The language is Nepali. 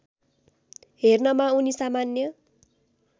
हेर्नमा उनी सामान्य